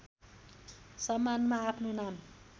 सम्मानमा आफ्नो नाम